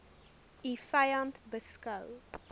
u vyand beskou